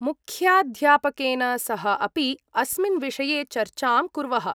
मुख्याध्यापकेन सह अपि अस्मिन् विषये चर्चां कुर्वः।